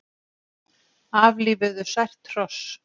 Aflífuðu sært hross